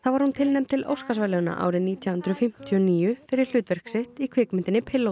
var hún tilnefnd til Óskarsverðlauna árið nítján hundruð fimmtíu og níu fyrir hlutverk sitt í kvikmyndinni